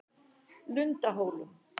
Lundahólum